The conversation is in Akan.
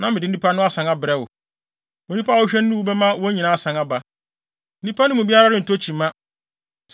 na mede nnipa no asan abrɛ wo. Onipa a wohwehwɛ no no wu bɛma wɔn nyinaa asan aba; nnipa no mu biara ho rentɔ kyima.”